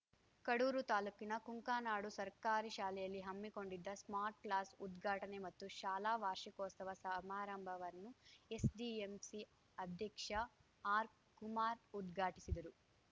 ಕಡೂರು ತಾಲೂಕಿನ ಕುಂಕಾನಾಡು ಸರ್ಕಾರಿ ಶಾಲೆಯಲ್ಲಿ ಹಮ್ಮಿಕೊಂಡಿದ್ದ ಸ್ಮಾರ್ಟ್‌ ಕ್ಲಾಸ್‌ ಉದ್ಘಾಟನೆ ಮತ್ತು ಶಾಲಾ ವಾರ್ಷಿಕೋತ್ಸವ ಸಮಾರಂಭವನ್ನು ಎಸ್‌ಜಿಎಂಸಿ ಅಧ್ಯಕ್ಷ ಆರ್‌ಕುಮಾರ್‌ ಉದ್ಘಾಟಿಸಿದರು